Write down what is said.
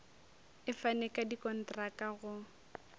e fane ka dikontraka go